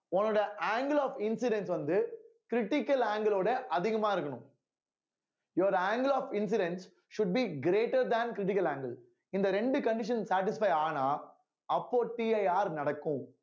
உன்னோட angle of incidents வந்து critical angle ஓட அதிகமா இருக்கணும் your angle of incident should be greater than critical angle இந்த ரெண்டு conditions satisfy ஆனா அப்போ CIR யார் நடக்கும்